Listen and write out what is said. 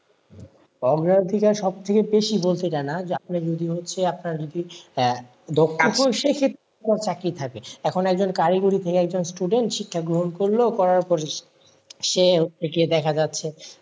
অত্যাধিকার সব থেকে বেশি বলতে যায় না আপনার যদি সেই ক্ষেত্রে চাকরি থাকে, এখন একজন কারিগরি থেকে একজন student শিক্ষা গ্রহণ করল করার পর সে দেখা যাচ্ছে,